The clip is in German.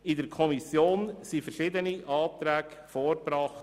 In der Kommission wurden verschiedene Anträge vorgebracht.